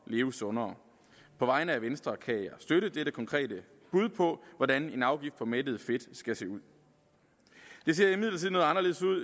leve sundere på vegne af venstre kan jeg støtte dette konkrete bud på hvordan en afgift på mættet fedt skal se ud det ser imidlertid noget anderledes ud